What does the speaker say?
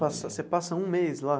Passa você passa um mês lá?